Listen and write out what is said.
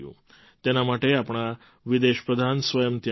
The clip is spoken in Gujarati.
તેના માટે આપણા વિદેશ પ્રધાન સ્વયં ત્યાં ગયા હતા